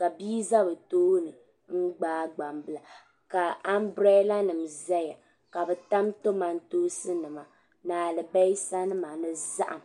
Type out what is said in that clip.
ka bia za bɛ tooni m-gbaai gbambila ka ambirɛlanima zaya ka bɛ tam kamantoosi ni alibisanima ni zahim.